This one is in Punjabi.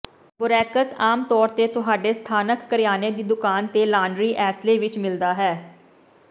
ਬੋਰੈਕਸ ਆਮ ਤੌਰ ਤੇ ਤੁਹਾਡੇ ਸਥਾਨਕ ਕਰਿਆਨੇ ਦੀ ਦੁਕਾਨ ਦੇ ਲਾਂਡਰੀ ਏਸਲੇ ਵਿੱਚ ਮਿਲਦਾ ਹੈ